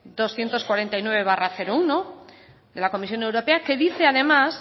doscientos cuarenta y nueve barra uno de la comisión europea que dice además